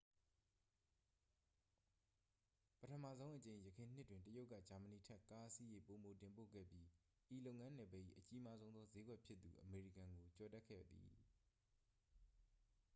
ပထမဆုံးအကြိမ် ယခင်နှစ်တွင် တရုတ်က ဂျာမဏီထက် ကားအစီးရေ ပိုမိုတင်ပို့ခဲ့ပြီး ဤလုပ်ငန်းနယ်ပယ်၏ အကြီးမားဆုံးသော စျေးကွက်ဖြစ်သူ အမေရိကန်ကို ကျော်တက်ခဲ့သည်